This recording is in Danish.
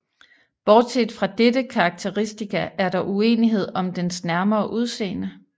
Bortset fra dette karakteristika er der uenighed om dens nærmere udseende